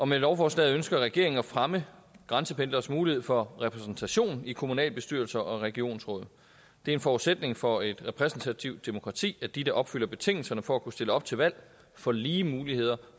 med lovforslaget ønsker regeringen at fremme grænsependleres mulighed for repræsentation i kommunalbestyrelser og regionsråd det er en forudsætning for et repræsentativt demokrati at de der opfylder betingelserne for at kunne stille op til valg får lige muligheder